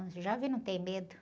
O jovem não tem medo.